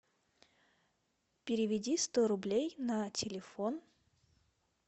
переведи сто рублей на телефон